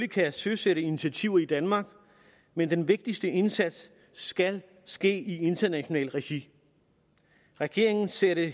kan søsætte initiativer i danmark men den vigtigste indsats skal ske i internationalt regi regeringen ser det